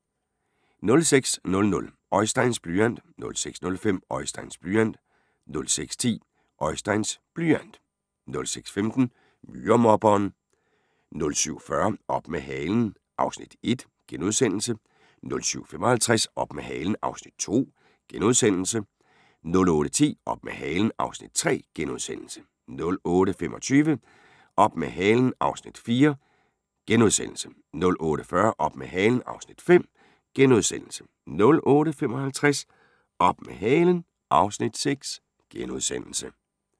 06:00: Oisteins blyant 06:05: Oisteins blyant 06:10: Oisteins blyant 06:15: Myremobberen 07:40: Op med halen (Afs. 1)* 07:55: Op med halen (Afs. 2)* 08:10: Op med halen (Afs. 3)* 08:25: Op med halen (Afs. 4)* 08:40: Op med halen (Afs. 5)* 08:55: Op med halen (Afs. 6)*